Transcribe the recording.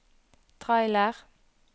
trailer